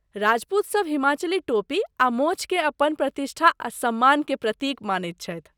राजपूतसभ हिमाचली टोपी आ मोँछ केँ अपन प्रतिष्ठा आ सम्मान के प्रतीक मानैत छथि।